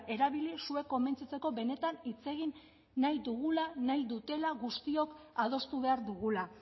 erabili zuek konbentzitzeko benetan hitz egin nahi dugula nahi dutela guztiok adostu behar dugula